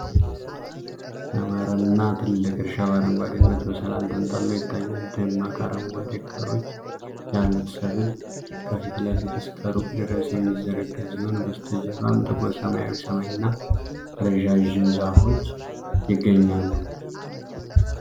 ያማረና ትልቅ እርሻ በአረንጓዴነት በሰላም ተንጣሎ ይታያል። ደማቅ አረንጓዴ ቅጠሎች ያሉት ሰብል ከፊት ለፊት እስከ ሩቅ ድረስ የሚዘረጋ ሲሆን፣ በስተጀርባም ጥቁር ሰማያዊ ሰማይና ረዣዥም ዛፎች ይገኛሉ።